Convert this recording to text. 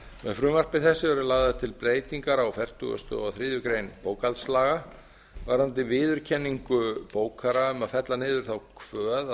með frumvarpi þessu eru lagðar til breytingar á fertugasta og þriðju grein bókhaldslaga varðandi viðurkenningu bókara um að fella niður þá kvöð